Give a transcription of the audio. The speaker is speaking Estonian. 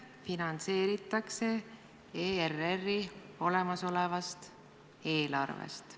... finantseeritakse ERR-i olemasolevast eelarvest.